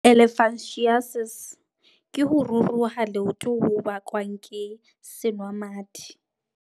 Elephantiasis ke ho ruruha leoto ho bakwang ke senwamadi.